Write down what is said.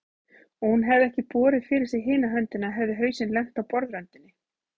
Og hefði hún ekki borið fyrir sig hina höndina hefði hausinn lent á borðröndinni.